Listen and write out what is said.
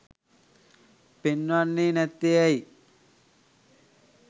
පෙන්වන්නේ නැත්තේ ඇයි?